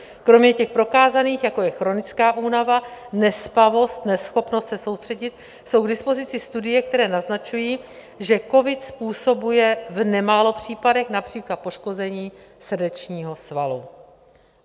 Kromě těch prokázaných, jako je chronická únava, nespavost, neschopnost se soustředit, jsou k dispozici studie, které naznačují, že covid způsobuje v nemálo případech například poškození srdečního svalu.